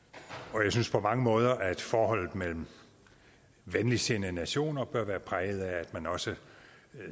jeg synes på mange måder at forholdet mellem venligsindede nationer bør være præget af at man også